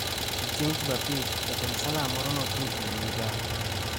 To chieng’ Jumapil, jatend Salam moro ne ochung’ ewi migao